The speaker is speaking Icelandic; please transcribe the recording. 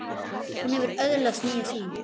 Hún hefur öðlast nýja sýn.